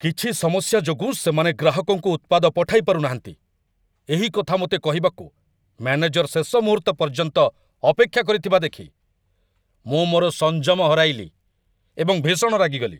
କିଛି ସମସ୍ୟା ଯୋଗୁଁ ସେମାନେ ଗ୍ରାହକଙ୍କୁ ଉତ୍ପାଦ ପଠାଇ ପାରୁନାହାନ୍ତି, ଏହି କଥା ମୋତେ କହିବାକୁ ମ୍ୟାନେଜର ଶେଷ ମୁହୂର୍ତ୍ତ ପର୍ଯ୍ୟନ୍ତ ଅପେକ୍ଷା କରିଥିବା ଦେଖି ମୁଁ ମୋର ସଂଯମ ହରାଇଲି ଏବଂ ଭୀଷଣ ରାଗିଗଲି।